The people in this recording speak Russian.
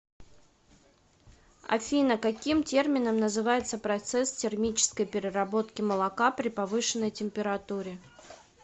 афина каким термином называется процесс термической переработки молока при повышенной температуре